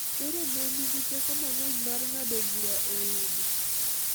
Koro mon nigi teko mang’eny mar ng’ado bura e udi .